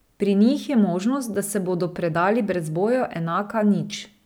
Pri njih je možnost, da se bodo predali brez boja, enaka nič.